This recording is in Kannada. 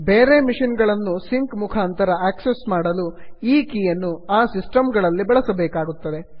ಬೇರೆ ಮೆಷಿನ್ ಗಳನ್ನು ಸಿಂಕ್ ಮುಖಾಂತರ ಆಕ್ಸಿಸ್ ಮಾಡಲು ಈ ಕೀಯನ್ನು ಆ ಸಿಸ್ಟಮ್ ಗಳಲ್ಲಿ ಬಳಸಬೇಕಾಗುತ್ತದೆ